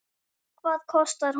Hvað kostar hún?